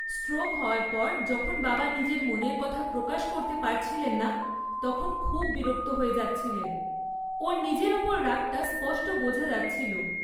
Stroke হওয়ার পর যখন বাবা নিজের মনের কথা প্রকাশ করতে পারছিলেন না, তখন খুব বিরক্ত হয়ে যাচ্ছিলেন। ওঁর নিজের ওপর রাগটা স্পষ্ট বোঝা যাচ্ছিল।